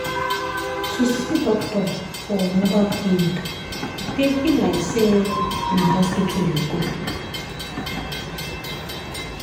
to see doctor for mobile clinic dey feel like say na hospital you go.